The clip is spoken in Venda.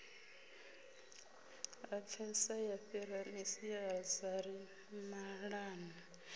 lapfesa ya fhira masiazari maṱanu